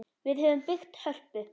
Við höfum byggt Hörpu.